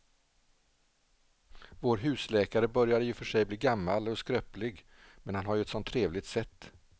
Vår husläkare börjar i och för sig bli gammal och skröplig, men han har ju ett sådant trevligt sätt!